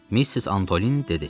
Missis Antolini dedi.